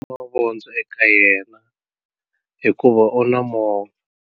Mavondzo eka yena hikuva u na movha.